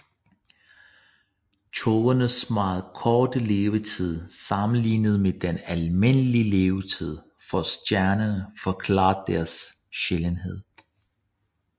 Tågernes meget korte levetid sammenlignet med den almindelige levetid for stjerner forklarer deres sjældenhed